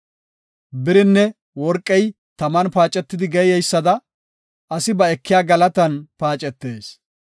Birinne worqey taman paacetidi geeyeysada, asi ba ekiya galatan paacetees.